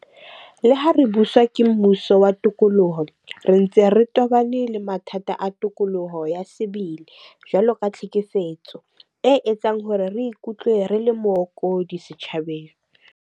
Le ha re buswa ke mmuso wa tokoloho, re ntse re tobane le mathata a tokoloho ya sebele. Jwalo ka tlhekefetso e etsang hore re ikutlwe re le mookodi setjhabeng.